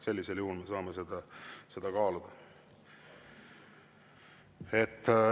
Sellisel juhul me saame seda kaaluda.